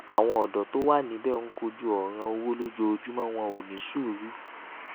àwọn òdó tó wà níbẹ ń kojú òràn owó lójoojúmọ wọn ò ní sùúrù